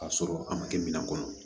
K'a sɔrɔ a ma kɛ minan kɔnɔ